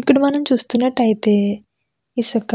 ఇక్కడ మనం చూస్తునట్టయితే ఇసక